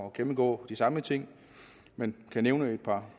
at gennemgå de samme ting men kan nævne et par